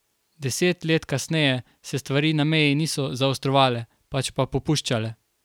Deset let kasneje se stvari na meji niso zaostrovale, pač pa popuščale.